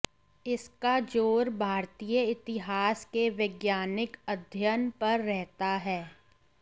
इसका जोर भारतीय इतिहास के वैज्ञानिक अध्ययन पर रहता है